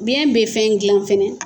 Biyɛn bɛ fɛn dilan fana.